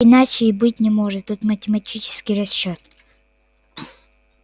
иначе и быть не может тут математический расчёт